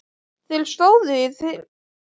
Þeir stóðu í þyrpingum og dreyptu á bjórdósum.